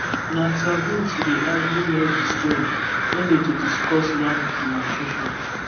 na taboo to dey argue near the stone when them dey discuss land demarcation